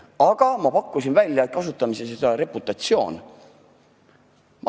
Aga ma pakkusin välja, et kasutame siis sõna "reputatsioon".